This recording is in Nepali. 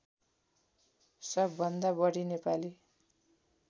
सबभन्दा बढी नेपाली